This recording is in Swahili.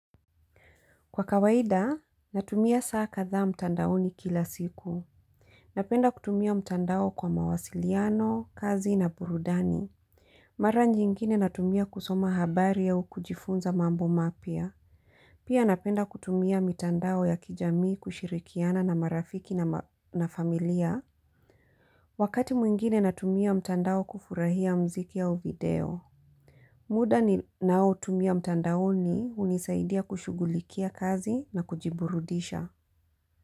Kwa kawaida, natumia saa kadha mtandaoni kila siku. Napenda kutumia mtandao kwa mawasiliano, kazi na burudani. Mara nyingine natumia kusoma habari ya au kujifunza mambo mapya. Pia napenda kutumia mtandao ya kijamii kushirikiana na marafiki na familia. Wakati mwingine natumia mtandao kufurahia muziki au video. Muda ni nao tumia mtandaoni hunisaidia kushugulikia kazi na kujiburudisha.